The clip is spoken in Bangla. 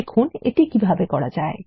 দেখুন এটি কিভাবে করা যায়